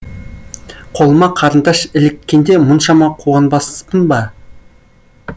қолыма қарындаш іліккенде мұншама қуанбаспын ба